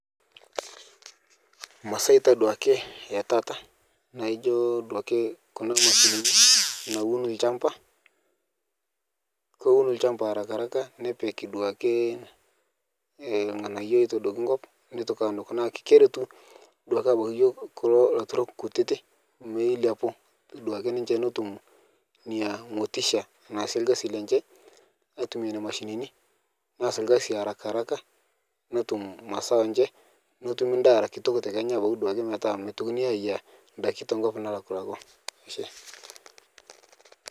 Masaa ta duake etaata naijo duake kuna mashinini naun lchamba, kowun lchamba harakaharaka nepik duake eh lng'anayo loitodokini nkop neitoki anuk, naa keretu duake abaki yuo kulo aturok kutiti meiliapu duake ninche netum nia motisha naase lgasi lenche aitumiyaa neina mashinini neas lgasi harakaharaka netum mazao enche, netumi ndaa era kitok te Kenya abaki duake metaa meitokini aayiya ndaki tenkop nalakulakwaa ashe.